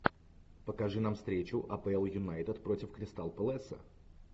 покажи нам встречу апл юнайтед против кристал пэласа